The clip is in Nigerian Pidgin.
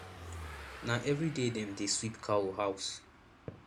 na everyday dem dey sweep cow house